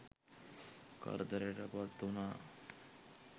කරදරයට පත්වුණා.